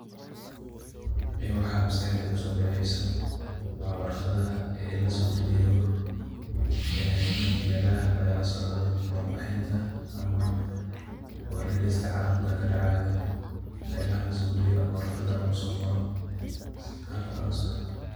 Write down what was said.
Ee mxa MasQaxdey kuso daceeysoh wa warqatha ee lsobkaliyoh meelaha lagala socdoh waxbarinta inta amah warkalista calamka kadacayo meelaha la so kaliyoh amah lagu so Qooroh.